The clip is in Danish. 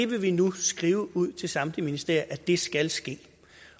vil nu skrive ud til samtlige ministerier at det skal ske